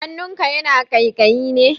Hannunka yana ƙaiƙayi ne?